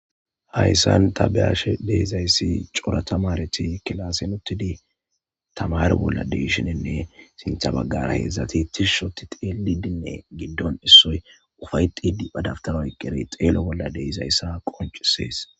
hayssan ta be7aashe deezayssi cora tamareti kilasi nuttidi tamar bolla deishinenne sintha baggara heedzdzati tishshoti xeelidinne giddon issoy ufay xidi padaftaoy qeri xeelo bolla deyzayssa qoncisees